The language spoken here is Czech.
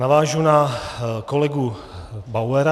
Navážu na kolegu Bauera.